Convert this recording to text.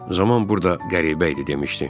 Zaman burda qəribə idi demişdi.